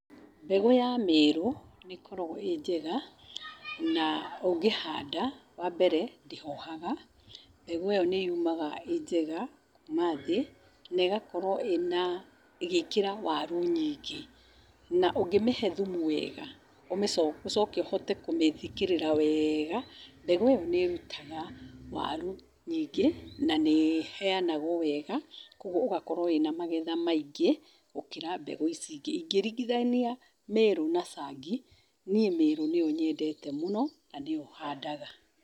Mbegũ ya merũ, nĩ ĩkoragwo e njega na ũngĩhanda, wa mbere, ndĩhohaga, mbegũ ĩyo nĩyumaga ĩ njega kuma thĩ na ĩgakorwo ĩna ĩgĩĩkĩra waru nyingĩ , na ũngĩmĩhe thumu wega ũcoke ũhote kũmĩthikĩrĩra wega, mbegũ ĩyo nĩ ĩrũtaga waru nyingĩ na nĩ ĩheanwo wega kugwo ũgakorwo wĩna magetha maingĩ gũkĩra mbegũ ici ingĩ, ũngĩ ringithania meru na cangi, niĩ meru nĩyo nyendete mũno na nĩyo handaga.